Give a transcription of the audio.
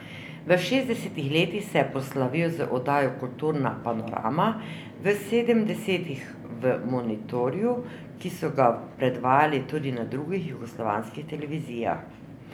V šestdesetih letih se je proslavil z oddajo Kulturna panorama, v sedemdesetih v Monitorju, ki so ga predvajali tudi na drugih jugoslovanskih televizijah.